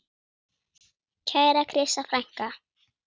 Kæra Krissa frænka.